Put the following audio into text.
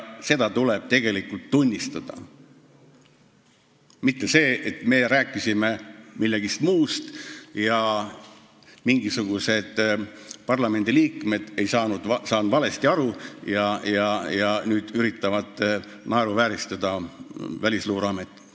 Seda tuleb tegelikult tunnistada, mitte öelda, et me rääkisime millestki muust ning et mingisugused parlamendiliikmed on asjast valesti aru saanud ja üritavad nüüd Välisluureametit naeruvääristada.